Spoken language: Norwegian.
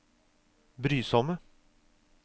brysomme